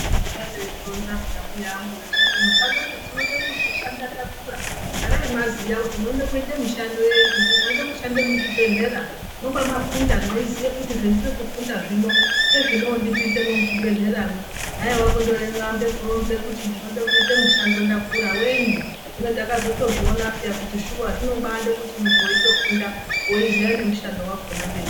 Vaigara vechizvironza peya mbuya vangu vechiti musandoti tinode kuzoshanda takura garai mwaziya kuti munoda kuita mishando yei kuti mweide kushande muzvibhedhlera mwoba mafunda meiziya kuti zvandiri kufunda zvino ngezvinondipinzemwo muchibhedhleramwo haiwa kundoambe ekuronza kuti ndinode kuita mushando ndakura wenyu hino takatozozviona peya kuti shuwa zvinobade kuti muntu weitofunda weiziya nemushando wakona kumberi.